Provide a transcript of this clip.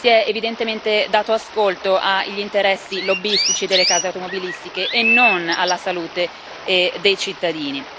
Si è evidentemente dato ascolto agli interessi lobbistici delle case automobilistiche e non alla salute dei cittadini.